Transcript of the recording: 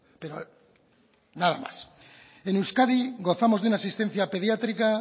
pero nada más en euskadi gozamos de una asistencia pediátrica